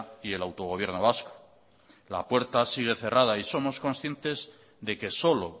y el autogobierno vasco la puerta sigue cerrada y somos conscientes de que solo